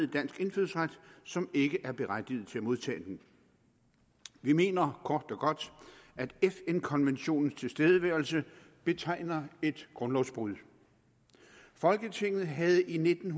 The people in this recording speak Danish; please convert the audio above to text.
dansk indfødsret til som ikke er berettiget til at modtage den vi mener kort og godt at fn konventionens tilstedeværelse betegner et grundlovsbrud folketinget havde i nitten